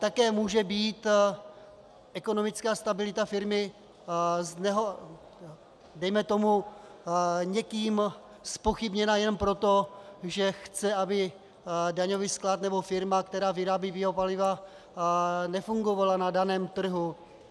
Také může být ekonomická stabilita firmy dejme tomu někým zpochybněna jenom proto, že chce, aby daňový sklad nebo firma, která vyrábí biopaliva, nefungovala na daném trhu.